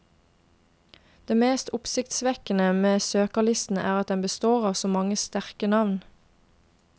Det mest oppsiktsvekkende med søkerlisten er at den består av så mange sterke navn.